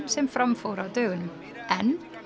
sem fram fór á dögunum en